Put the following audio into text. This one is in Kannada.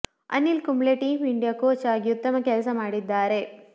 Anil Kumble team India coach ಆಗಿ ಉತ್ತಮ ಕೆಲಸ ಮಾಡಿದ್ದಾರೆ